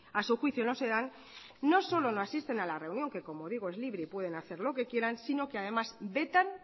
a su juicio no se dan no solo no asisten a la reunión que como digo es libre y pueden hacer lo que quieran sino que además vetan